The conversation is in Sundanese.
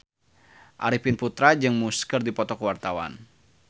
Arifin Putra jeung Muse keur dipoto ku wartawan